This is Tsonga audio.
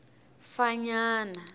fanyana